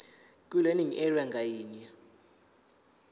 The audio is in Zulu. kwilearning area ngayinye